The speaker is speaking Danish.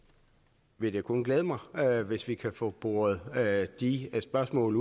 vil det selvfølgelig kun glæde mig hvis vi kan få de spørgsmål